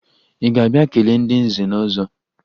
Ị ga-abịa kelee ndị nze na ọzọ?